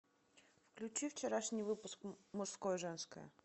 включи вчерашний выпуск мужское и женское